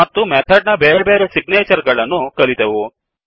ಮತ್ತು ಮೆಥಡ್ ನ ಬೇರೆ ಬೇರೆ ಸಿಗ್ನೇಚರ್ಗಳನ್ನು ಕಲಿತೆವು